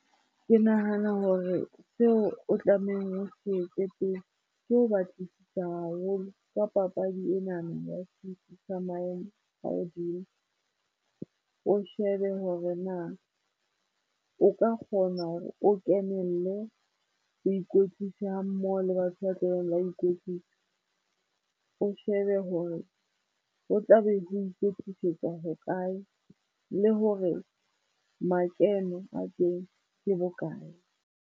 Ke nahana hore seo o tlamehang o se etse pele, ke ho batlisisa haholo ka papadi enana ya setsi sa maemo a hodimo. O shebe hore na o ka kgona hore o kenelle ho ikwetlisa ha mmoho le batho ba tla beng ba ikwetlisa. O shebe hore ho tlabe ho ikwetlisetswa hokae le hore makeno a teng ke bokae.